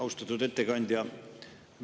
Austatud ettekandja!